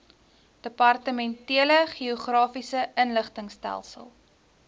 departementele geografiese inligtingstelsel